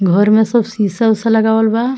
घर में सब सीसा-उसा लगावल बा।